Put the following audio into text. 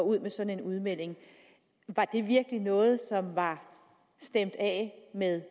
ud med sådan en udmelding var det virkelig noget som var stemt af med